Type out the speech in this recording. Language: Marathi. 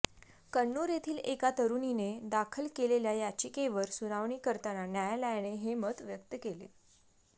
कन्नूर येथील एका तरुणीने दाखल केलेल्या याचिकेवर सुनावणी करताना न्यायालयाने हे मत व्यक्त केले